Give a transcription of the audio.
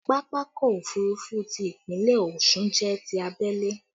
Pápákọ̀ òfurufú ti Ìpínlẹ̀ Ọ̀ṣun jẹ́ ti abẹ́lé